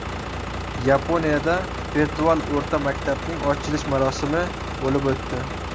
Yaponiyada virtual o‘rta maktabning ochilish marosimi bo‘lib o‘tdi.